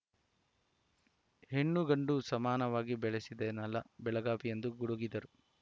ಹೆಣ್ಣುಗಂಡು ಸಮಾನವಾಗಿ ಬೆಳೆಸಿದ ನೆಲ ಬೆಳಗಾವಿ ಎಂದು ಗುಡುಗಿದರು